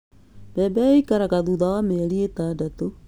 Mbebe ikũraga thutha wa mĩeri ĩtandatũ